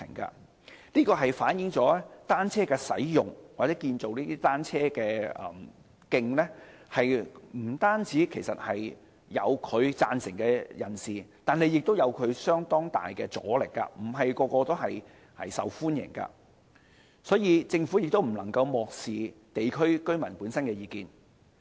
這反映了單車的使用或建造單車徑不單有人贊成，亦有相當大的阻力，並非每個項目均受到市民歡迎，所以政府不能漠視地區居民的意見。